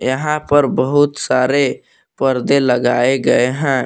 यहां पर बहुत सारे पर्दे लगाए गए हैं।